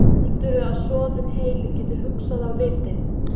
Heldurðu að soðinn heili geti hugsað af viti?